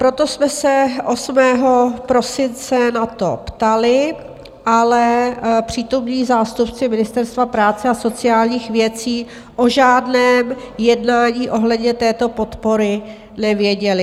Proto jsme se 8. prosince na to ptali, ale přítomní zástupci Ministerstva práce a sociálních věcí o žádném jednání ohledně této podpory nevěděli.